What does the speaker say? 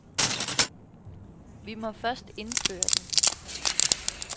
Vi må først indføre den.